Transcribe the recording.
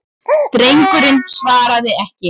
Drengurinn svaraði ekki.